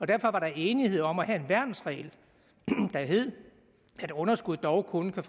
derfor var der enighed om at have en værnsregel der hed at underskud dog kun